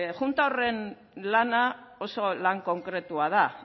junta horren lana oso lan konkretua da